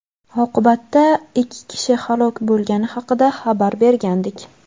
oqibatda ikki kishi halok bo‘lgani haqida xabar bergandik.